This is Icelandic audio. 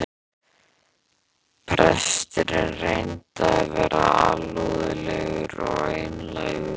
Presturinn reyndi að vera alúðlegur og einlægur.